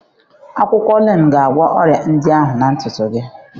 Akwụkwọ Neem ga-agwọ ọrịa ndị ahụ na ntutu gị